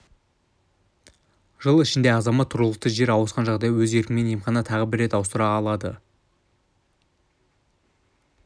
жыл ішінде азамат тұрғылықты жері ауысқан жағдайда өз еркімен емхананы тағы бір рет ауыстыра алады